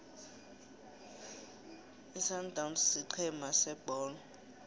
isundowns sigcema sebholo